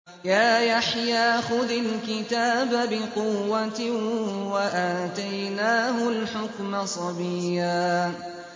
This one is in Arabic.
يَا يَحْيَىٰ خُذِ الْكِتَابَ بِقُوَّةٍ ۖ وَآتَيْنَاهُ الْحُكْمَ صَبِيًّا